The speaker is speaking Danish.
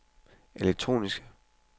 elektroniske